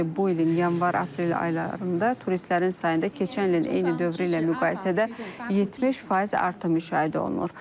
Belə ki, bu ilin yanvar-aprel aylarında turistlərin sayında keçən ilin eyni dövrü ilə müqayisədə 70% artım müşahidə olunur.